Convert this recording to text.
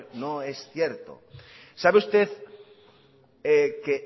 no es cierto sabe usted que